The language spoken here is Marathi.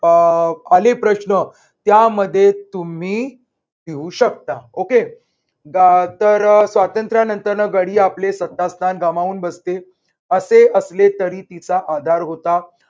अह खालील प्रश्न त्यामध्ये तुम्ही देऊ शकता. okay तर स्वातंत्र्यानंतर गडी आपले श्रद्धास्थान गमावून बसतील. असे असले तरी तिचा आधार होता.